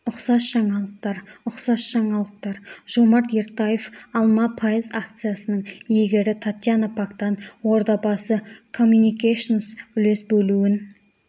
ұқсас жаңалықтар ұқсас жаңалықтар жомарт ертаев алма пайыз акциясының иегері татьяна пактан ордабасы комьюникейшенс үлес бөлуін